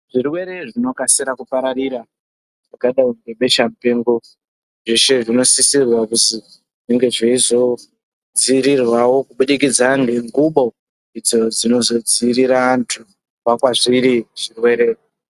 Zvirwere zvinokasira kupararira zvakadai ngebesha mupengo zveshe zvinosisirwa kuti zvinge zveizodzivirirwawo kubudikidza ngengubo dzinozodzivirira antu kubva kwazviri zvirwere.